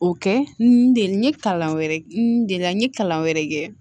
O kɛ n den n ye kalan wɛrɛ n delila n ye kalan wɛrɛ kɛ